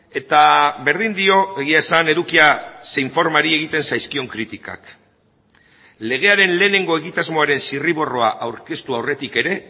eta berdin dio egia esan edukia zein formari egiten zaizkion kritikak legearen lehenengo egitasmoaren zirriborroa aurkeztu aurretik ere